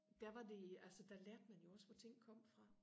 der var det der lærte man jo også hvor ting kom fra